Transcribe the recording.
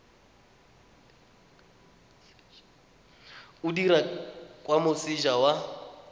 o dirwa kwa moseja wa